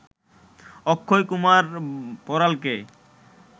Akshay Kumar বড়ালকে